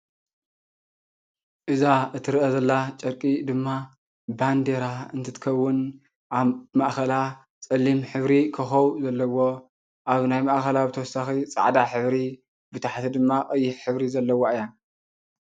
እዛ እትረአ ዘላ ጨርቂ ድማ ባንዴራ እንትትኸውን ኣብ ማእኸላ ፀሊም ሕብሪ ኮኾብ ዘለዎ ኣብ ናይ ማእኸላ ብተወሳኺ ፃዕዳ ሕብሪ ብታሕቲ ድማ ቀይሕ ሕብሪ ዘለዋ እያ።